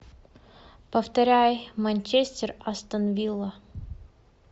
повторяй манчестер астон вилла